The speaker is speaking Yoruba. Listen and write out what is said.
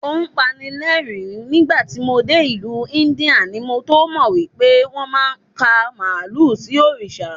O pani ní ẹ̀rín, nígbàtí mo dé ìlú Íńdíà ni mo tómọ̀ wípé wón máa ń ka Màálù sí Òrìṣà.